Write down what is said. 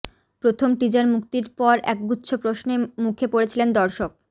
প্রথম টিজার মুক্তির পর একগুচ্ছ প্রশ্নে মুখে পড়েছিলেন দর্শক